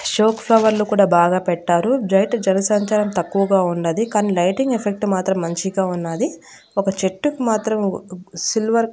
షోక్ ఫ్లవర్లు బాగా పెట్టారు డ్రైట జనసంచారం తక్కువగా ఉన్నది కానీ లైటింగ్ ఎఫెక్ట్ మాత్రం మంచిగా ఉన్నాది ఒక చెట్టుకి మాత్రం సిల్వర్ --